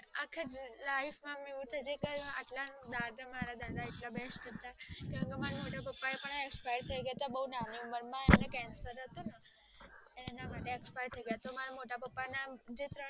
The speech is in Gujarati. આખી life માં મેં આવું દાદા ના હિસાબે મારા મોટા પપ્પા પણ expire થય ગયા હતા નાની ઉમર માં એમને cancer હતું ને તો એ expire થય ગયા હતા